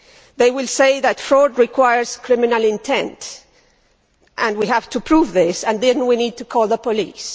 They will say that fraud requires criminal intent, and we have to prove this, and then we need to call the police.